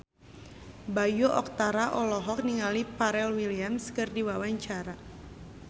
Bayu Octara olohok ningali Pharrell Williams keur diwawancara